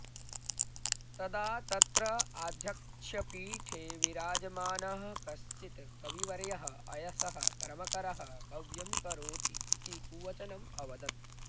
तदा तत्र आध्यक्ष्यपीठे विराजमानः कश्चित् कविवर्यः अयसः कर्मकरः कव्यं करोति इति कुवचनम् अवदत्